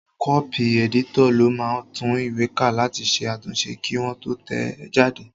Kọ́pì ẹ̀dítọ̀ ló máa ń tún ìwé ká láti ṣe àtúnṣe kí wọ́n tó tẹ̀ ẹ́ jáde